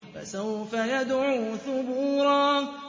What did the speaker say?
فَسَوْفَ يَدْعُو ثُبُورًا